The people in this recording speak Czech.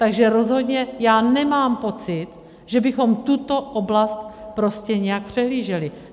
Takže rozhodně já nemám pocit, že bychom tuto oblast prostě nějak přehlíželi.